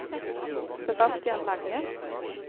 Sebastian Lange